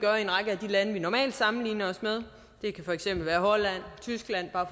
lande vi normalt sammenligner os med det kan for eksempel være holland og tyskland